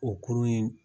O kurun in